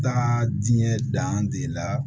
Taa diɲɛ dande la